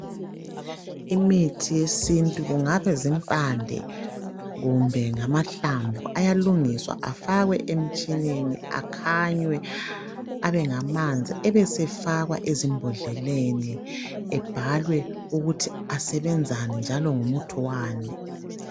Imithi yesintu kungaba zimpande kumbe ngamahlamvu ayalungiswa efakwe emitshineni akhanywe abengamanzi, ebesefakwa ezimbodleleni ebhalwe ukuthi asebenzani njalo ngumuthi wani.